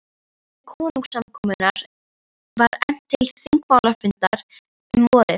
Í tilefni konungskomunnar var efnt til þingmálafundar um vorið.